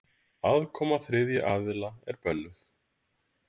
Aðkoma þriðja aðila er bönnuð.